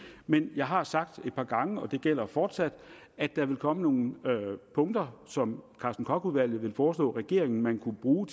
men jeg har sagt et par gange og det gælder fortsat at der vil komme nogle punkter som karsten koch udvalget vil foreslå regeringen man kan bruge